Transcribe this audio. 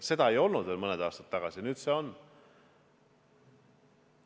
Seda ei olnud veel mõni aasta tagasi, nüüd see on.